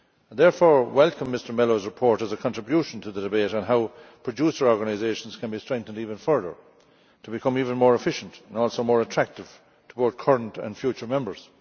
Therefore I welcome Mr Melo's report as a contribution to the debate on how producer organisations can be strengthened even further to become even more efficient and also more attractive to both current and future members.